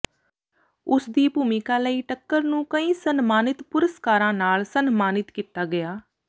ਉਸਦੀ ਭੂਮਿਕਾ ਲਈ ਟੱਕਰ ਨੂੰ ਕਈ ਸਨਮਾਨਿਤ ਪੁਰਸਕਾਰਾਂ ਨਾਲ ਸਨਮਾਨਿਤ ਕੀਤਾ ਗਿਆ